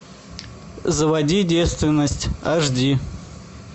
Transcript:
заводи девственность аш ди